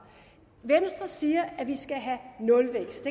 venstre siger at vi skal have nulvækst